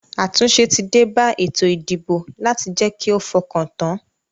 Àtúnse tí débá ètò ìdìbò láti je ki o fokan tan